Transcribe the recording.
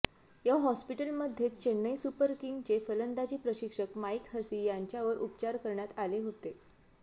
या हॉस्पिटलमध्येच चेन्नई सुपर किंग्सचे फलंदाजी प्रशिक्षक माइक हसी यांच्यावर उपचार करण्यात आले होते